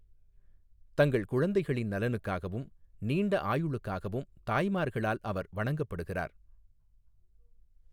தங்கள் குழந்தைகளின் நலனுக்காகவும், நீண்ட ஆயுளுக்காகவும் தாய்மார்களால் அவர் வணங்கப்படுகிறார்.